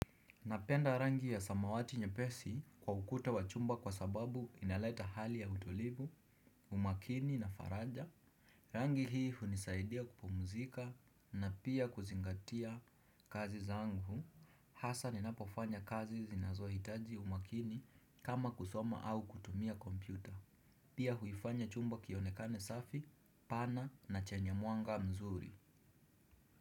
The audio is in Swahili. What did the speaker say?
Napenda rangi ya samawati nyepesi kwa ukuta wa chumba kwa sababu inaleta hali ya utulivu, umakini na faraja. Rangi hii hunisaidia kupumuzika na pia kuzingatia kazi zangu. Haswa ninapofanya kazi zinazohitaji umakini kama kusoma au kutumia kompyuta. Pia huifanya chumba kionekane safi, pana na chenye mwanga mzuri.